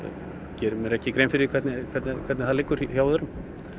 geri mér ekki grein fyrir hvernig hvernig hvernig það liggur hjá öðrum